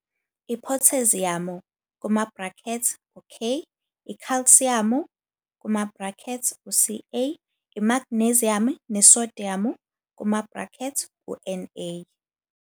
Iphotheziyamu, K, ikhalsiyamu, Ca, imagneziyamu nesodiyamu, Na.